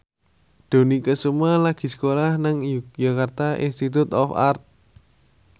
Dony Kesuma lagi sekolah nang Yogyakarta Institute of Art